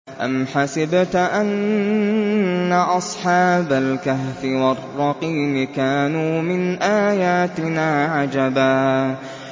أَمْ حَسِبْتَ أَنَّ أَصْحَابَ الْكَهْفِ وَالرَّقِيمِ كَانُوا مِنْ آيَاتِنَا عَجَبًا